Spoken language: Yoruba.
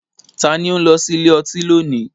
Ta ni ó ń lọ sí ilé ọtí lónìí?